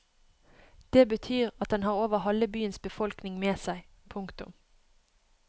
Det betyr at den har over halve byens befolkning med seg. punktum